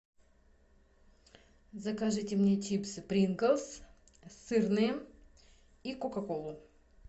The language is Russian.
закажите мне чипсы принглс сырные и кока колу